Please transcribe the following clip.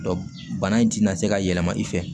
bana in tɛna se ka yɛlɛma i fɛ